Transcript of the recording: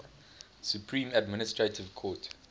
supreme administrative court